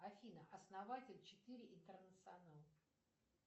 афина основатель четыре интернационал